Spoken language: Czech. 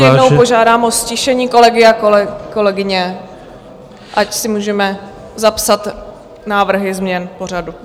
Ještě jednou požádám o ztišení kolegy a kolegyně, ať si můžeme zapsat návrhy změn pořadu.